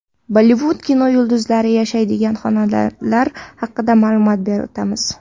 Bollivud kinoyulduzlari yashaydigan xonadonlar haqida ma’lumot berib o‘tamiz.